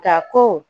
Ka ko